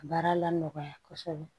Baara la nɔgɔya kosɛbɛ